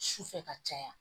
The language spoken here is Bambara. Su fɛ ka caya